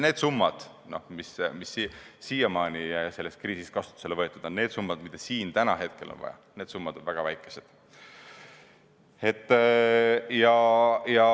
Need summad, mis on siiamaani selles kriisis kasutusele võetud, need summad, mida on vaja, on väga väikesed.